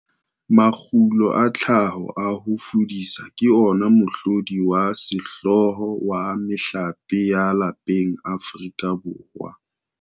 Makgulo a tlhaho a ho fudisa ke ona mohlodi wa sehlooho wa mehlape ya lapeng Afrika Borwa.